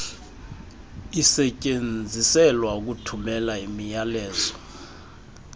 isetyenziselwa ukuthumela imiyalezo